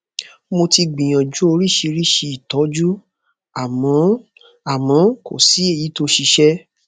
mo ti gbìyànjú oríṣiríṣi ìtọjú àmọ àmọ kò sí èyí tó ṣiṣẹ